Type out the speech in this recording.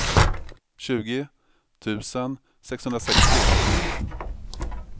tjugo tusen sexhundrasextio